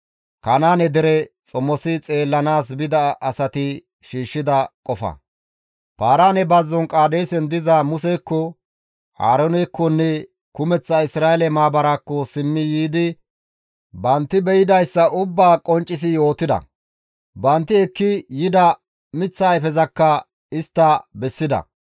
Paaraane bazzon Qaadeesen diza Musekko, Aaroonekkonne Isra7eele maabara kumeththaakko simmi yiidi bantti beydayssa ubbaa qonccisi yootida; bantti ekki yida miththa ayfezakka istta bessida.